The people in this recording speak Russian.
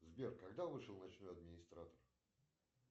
сбер когда вышел ночной администратор